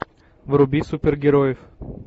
вруби супергероев